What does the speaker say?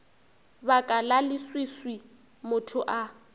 baka la leswiswi motho a